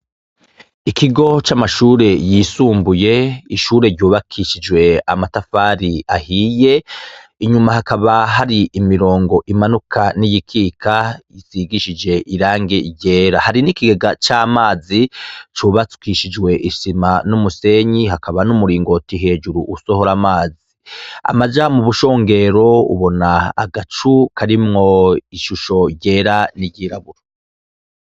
Ikigo c'amashure yisumbuye, ishure ryubakishijwe amatafari ahiye, inyuma hakaba hari imirongo imanuka n'iyikika bisigishije irangi ryera, hari n'ikigega c'amazi cubakishijwe isima n'umusenyi, hakaba n'umuringoti hejuru usohora amazi, amaja mu bushongero ubona agacu karimwo ishusho ryera n'iryiraburo.